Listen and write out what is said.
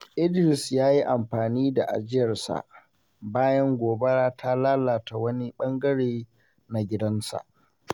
Idris ya yi amfani da ajiyarsa bayan gobara ta lalata wani ɓangare na gidansa.